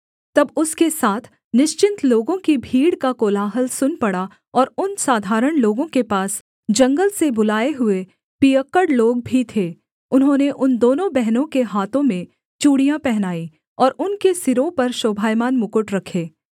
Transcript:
तब उसके साथ निश्चिन्त लोगों की भीड़ का कोलाहल सुन पड़ा और उन साधारण लोगों के पास जंगल से बुलाए हुए पियक्कड़ लोग भी थे उन्होंने उन दोनों बहनों के हाथों में चूड़ियाँ पहनाई और उनके सिरों पर शोभायमान मुकुट रखे